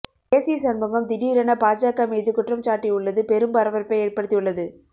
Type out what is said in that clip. AC Shanmugam திடீரென பாஜக மீது குற்றம் சாட்டி உள்ளது பெரும் பரபரப்பை ஏற்படுத்தி உள்ளது